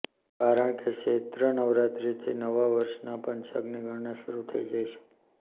કારણકે ચૈત્ર નવરાત્રિથી નવા વર્ષના પંચાંગની ગણના શરૂ થઇ જાય છે